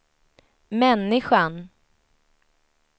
människan